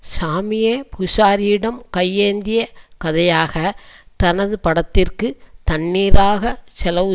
சாமியே பூசாரியிடம் கையேந்திய கதையாக தனது படத்திற்கு தண்ணீராக செலவு